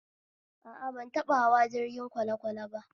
A a, ban taɓa hawa jirgin kwalekwale ba